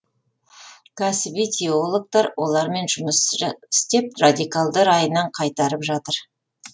кәсіби теологтар олармен жұмыс істеп радикалды райынан қайтарып жатыр